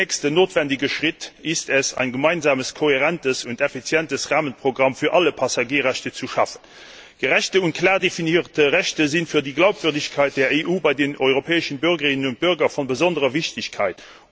Der nächste notwendige Schritt ist es, ein gemeinsames kohärentes und effizientes Rahmenprogramm für alle Passagierrechte zu schaffen. Gerechte und klar definierte Rechte sind für die Glaubwürdigkeit der EU bei den europäischen Bürgerinnen und Bürgern von besonderer Wichtigkeit.